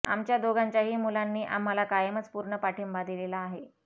आमच्या दोघांच्याही मुलांनी आम्हाला कायमच पूर्ण पाठिंबा दिलेला आहे